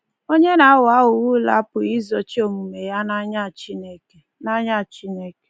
Onye na-aghọ aghụghọ ule apụghị izochi omume ya n’anya Chineke. n’anya Chineke.